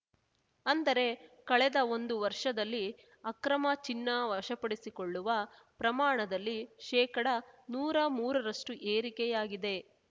ಅಂದರೆ ಕಳೆದ ಒಂದು ವರ್ಷದಲ್ಲಿ ಅಕ್ರಮ ಚಿನ್ನ ವಶಪಡಿಸಿಕೊಳ್ಳುವ ಪ್ರಮಾಣದಲ್ಲಿ ಶೇಕಡನೂರಾ ಮೂರರಷ್ಟುಏರಿಕೆಯಾಗಿದೆ